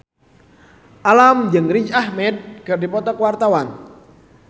Alam jeung Riz Ahmed keur dipoto ku wartawan